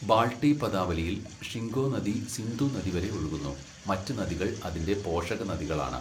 ബാൾട്ടി പദാവലിയിൽ, ഷിംഗോ നദി സിന്ധു നദി വരെ ഒഴുകുന്നു, മറ്റ് നദികൾ അതിന്റെ പോഷകനദികളാണ്.